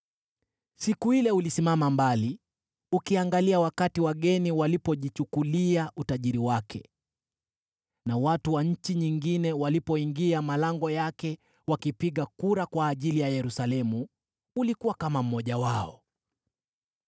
Siku ile ulisimama mbali ukiangalia wakati wageni walipojichukulia utajiri wake na watu wa nchi nyingine walipoingia malango yake wakipiga kura kwa ajili ya Yerusalemu, ulikuwa kama mmoja wao.